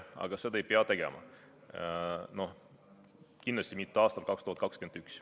Aga seda ei peaks tegema, no kindlasti mitte aastal 2021.